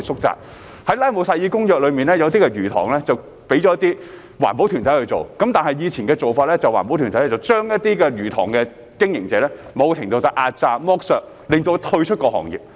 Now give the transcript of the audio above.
在《拉姆薩爾公約》下，部分魚塘交由環保團體去做，但以前的做法是環保團體對一些魚塘經營者進行某程度的壓榨、剝削，令其退出行業。